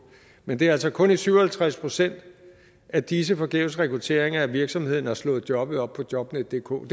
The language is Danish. men det var altså kun i syv og halvtreds procent af disse forgæves rekrutteringer at virksomheden havde slået jobbet op på jobnetdk det kunne